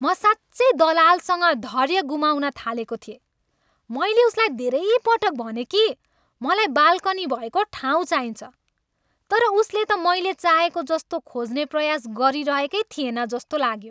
म साँच्चै दलालसँग धैर्य गुमाउन थालेको थिएँ। मैले उसलाई धेरै पटक भनेँ कि मलाई बाल्कनी भएको ठाउँ चाहिन्छ। तर उसले त मैले चाहेको जस्तो खोज्ने प्रयास गरिरहेकै थिएन जस्तो लाग्यो।